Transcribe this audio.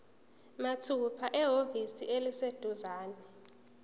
mathupha ehhovisi eliseduzane